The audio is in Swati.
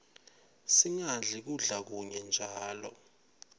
singadli kudla kunye njalo